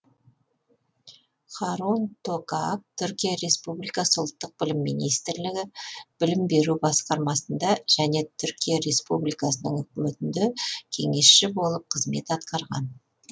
харун токак түркия республикасы ұлттық білім министрлігі білім беру басқармасында және түркия республикасының үкіметінде кеңесші болып қызмет атқарған